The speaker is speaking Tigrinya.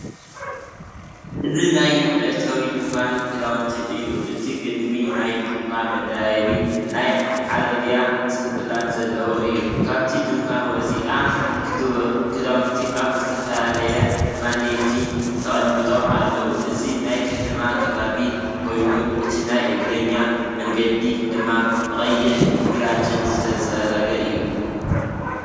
እዚ ናይ መእተዊ ድኳን ክዳውንቲ እዩ። እቲ ቅድሚት ናይቲ ድኳን መደያይቦን ናይ ዓረብያ ስንኩላን ዘለዎ እዩ። ካብቲ ድኳን ወጻኢ፡ክዳውንቲ ኣብ ዝተፈላለየ ማኔኪን ተቐሚጦም ኣለዉ። እዚ ናይ ከተማ ከባቢ ኮይኑ፡እቲ ናይ እግረኛ መንገዲ ድማ ብቐይሕን ግራጭን ዝተጸረገ እዩ።